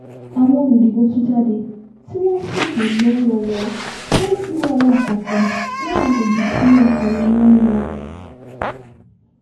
àwọn olùdìbò tú jáde tí wọ́n sì tò lọ́wọ̀ọ̀wọ́ láì ṣi wàhálà kankan láwọn àgbègbè tí akọ̀ròyìn wa lò